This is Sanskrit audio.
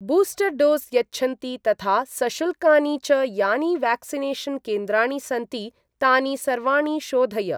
बूस्टर् डोस् यच्छन्ति तथा सशुल्कानि च यानि व्याक्सिनेषन् केन्द्राणि सन्ति तानि सर्वाणि शोधय।